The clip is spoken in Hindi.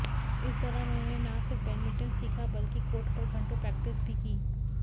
इस दौरान उन्होंने ना सिर्फ बैडमिंटन सीखा बल्कि कोर्ट पर घंटों प्रैक्टिस भी की